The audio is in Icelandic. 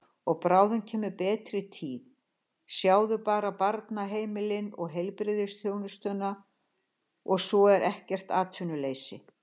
Og bráðum kemur betri tíð, sjáðu bara barnaheimilin og heilbrigðisþjónustuna og svo er ekkert atvinnuleysi.